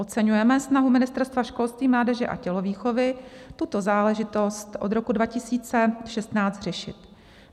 Oceňujeme snahu Ministerstva školství, mládeže a tělovýchovy tuto záležitost od roku 2016 řešit.